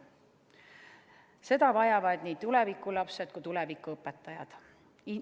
Seda vajavad nii tuleviku lapsed kui ka tuleviku õpetajad.